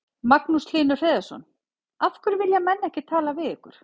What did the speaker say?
Magnús Hlynur Hreiðarsson: Af hverju vilja menn ekki tala við ykkur?